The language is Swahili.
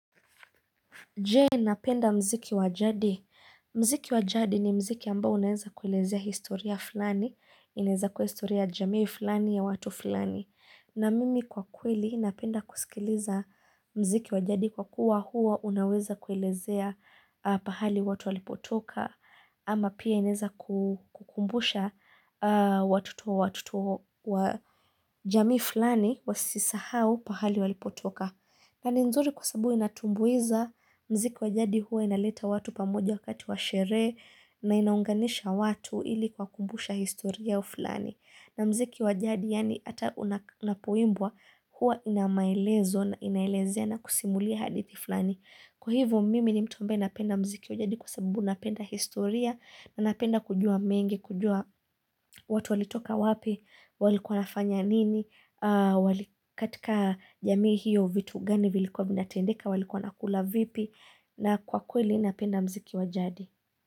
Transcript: Je, napenda mziki wajadi. Mziki wa jadi ni mziki ambao unaeza kuelezea historia fulani. Ineza kua historia ya jamii fulani ya watu fulani. Na mimi kwa kweli napenda kusikiliza mziki wa jadi kwa kuwa hua unaweza kuelezea pahali watu walipotoka. Ama pia ineza kukumbusha watoto wa jamii fulani wasisahau pahali walipotoka. Na ni nzuri kwa sababu inatumbuiza mziki wajadi huwa inaleta watu pamoja wakati washerehe na inaunganisha watu ili kuwakumbusha historia fulani. Na mziki wajadi yani hata unapo imbwa huwa inamaelezo na inaelezea na kusimulia hadithi fulani. Kwa hivo mimi ni mtu ambae napenda mziki wa jadi kwa sababu napenda historia na napenda kujua mengi, kujua watu walitoka wapi, walikuwa wafanya nini, katika jamii hiyo vitu gani vilikuwa vinatendeka, walikuwa wanakula vipi na kwa kweli napenda mziki wa jadi.